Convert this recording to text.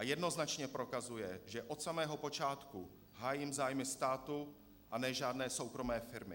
A jednoznačně prokazuje, že od samého počátku hájím zájmy státu, a ne žádné soukromé firmy.